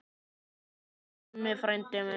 Elsku Gummi frændi minn.